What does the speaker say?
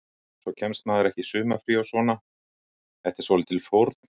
Svo kemst maður ekki í sumarfrí og svona, þetta er svolítil fórn.